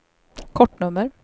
kortnummer